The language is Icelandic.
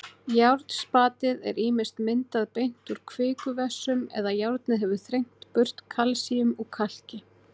Járnspatið er ýmist myndað beint úr kvikuvessum eða járnið hefur þrengt burt kalsíum úr kalki.